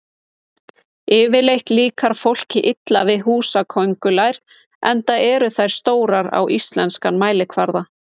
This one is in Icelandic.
Yfirleitt líkar fólki illa við húsaköngulær enda eru þær stórar á íslenskan mælikvarða.